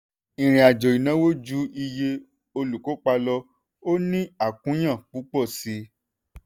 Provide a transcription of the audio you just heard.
ìrìnàjò ìnáwó ju iye olùkópa lọ; ó ní àkúnya púpọ̀ síi.